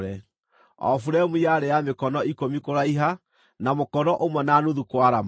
O buremu yarĩ ya mĩkono ikũmi kũraiha, na mũkono ũmwe na nuthu kwarama,